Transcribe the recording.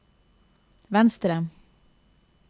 venstre